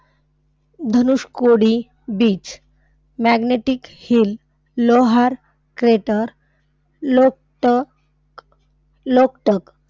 Dhanushkodi beach. magnetic hill, Lonar crater, Loktak, Loktak.